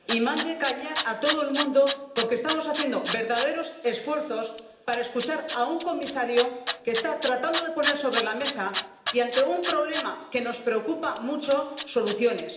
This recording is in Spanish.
Señor presidente, mande callar a todo el mundo, porque estamos haciendo verdaderos esfuerzos para escuchar a un comisario que está tratando de poner sobre la mesa —y ante un problema que nos preocupa mucho— soluciones.